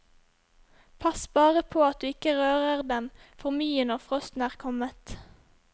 Pass bare på at du ikke rører dem for mye når frosten er kommet.